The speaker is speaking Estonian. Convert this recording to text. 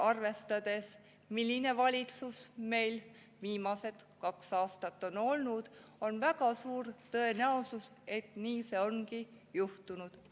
Arvestades, milline valitsus meil viimased kaks aastat on olnud, on väga suur tõenäosus, et nii see ongi juhtunud.